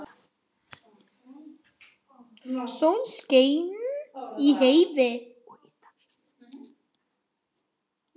Sól skein í heiði.